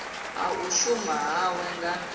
ha u shuma hawe nga